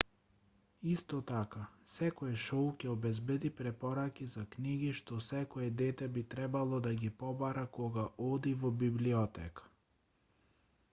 исто така секое шоу ќе обезбеди препораки за книги што секое дете би требало да ги побара кога оди во библиотека